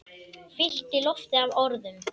Fyllti loftið af orðum.